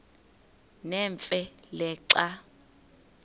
nemfe le xa